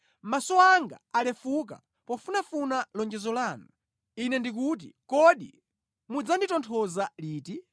Maso anga alefuka pofunafuna lonjezo lanu; Ine ndikuti, “Kodi mudzanditonthoza liti?”